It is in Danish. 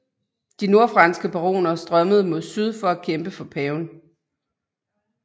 De nordfranske baroner strømmede mod syd for at kæmpe for paven